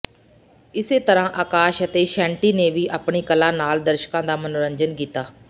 ਇਸੇ ਤਰ੍ਹਾਂ ਅਕਾਸ਼ ਅਤੇ ਸ਼ੈਂਟੀ ਨੇ ਵੀ ਆਪਣੀ ਕਲਾ ਨਾਲ ਦਰਸ਼ਕਾਂ ਦਾ ਮਨੋਰੰਜਨ ਕੀਤਾ